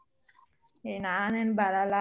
A ನಾನೇನ್ ಬರಲ್ಲ.